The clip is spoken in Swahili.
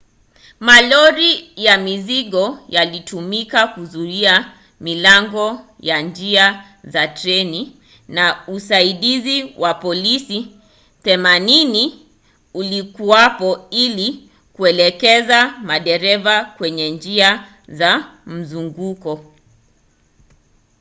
malori ya mizigo yalitumiwa kuzuia milango ya njia za treni na usaidizi wa polisi 80 ulikuwapo ili kuelekeza madereva kwenye njia za mzunguko